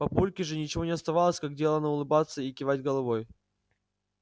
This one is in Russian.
папульке же ничего не оставалось как делано улыбаться и кивать головой